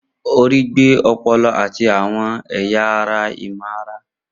Orí gbé ọpọlọ àti àwọn ẹ̀yà ara ìmọ̀-ara.